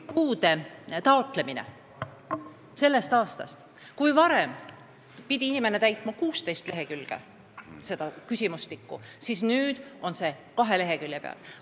Puude taotlemine on sellest aastast lihtsam: kui varem pidi inimene täitma 16 lehekülge küsimustikku, siis nüüd on see kahe lehekülje peal.